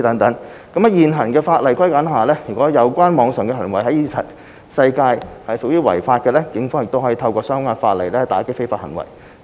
在現有法例框架下，如有關網上行為在現實世界屬違法的，警方可透過相關的法例打擊非法行為。